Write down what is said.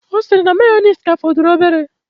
Ọ sịrị na mayoneesi ka fọdụrụ obere.